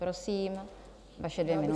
Prosím, vaše dvě minuty.